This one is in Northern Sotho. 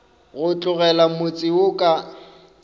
go tlogela motse wo ka